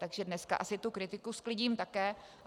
Takže dneska asi tu kritiku sklidím také.